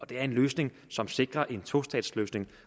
det er en løsning som sikrer en tostatsløsning